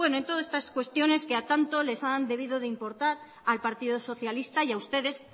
en todas estas cuestiones que a tanto les han debido importar al partido socialista y a ustedes